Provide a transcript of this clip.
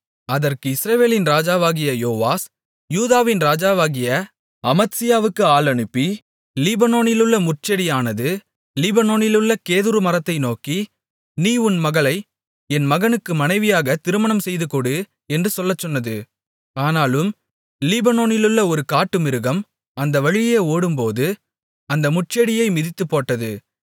அதற்கு இஸ்ரவேலின் ராஜாவாகிய யோவாஸ் யூதாவின் ராஜாவாகிய அமத்சியாவுக்கு ஆள் அனுப்பி லீபனோனிலுள்ள முட்செடியானது லீபனோனிலுள்ள கேதுருமரத்தை நோக்கி நீ உன் மகளை என் மகனுக்கு மனைவியாக திருமணம் செய்துகொடு என்று சொல்லச்சொன்னது ஆனாலும் லீபனோனிலுள்ள ஒரு காட்டுமிருகம் அந்த வழியே ஓடும்போது அந்த முட்செடியை மிதித்துப்போட்டது